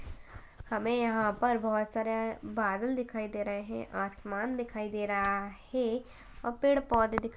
हमें यहाँ पर बहोत सारे बादल दिखाई दे रहे है आसमान दिखाई दे रहा है और पेड़ पौधे --